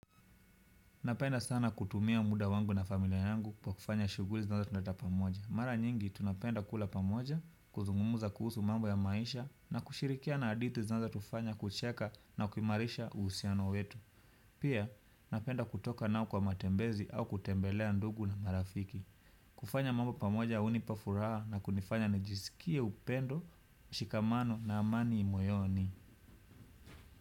Napenda sana kutumia muda wangu na familia yangu kwa kufanya shughuli zinazotuleta pamoja. Mara nyingi, tunapenda kula pamoja, kuzungumza kuhusu mambo ya maisha na kushirikiana hadithi zinazotufanya kucheka na kuimarisha uhusiano wetu. Pia, napenda kutoka nao kwa matembezi au kutembelea ndugu na marafiki. Kufanya mambo pamoja hunipa furaha na kunifanya nijisikie upendo, mshikamano na amani moyoni.